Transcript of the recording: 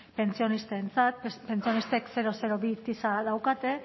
pentsionistentzat pentsionistek bi tisa daukate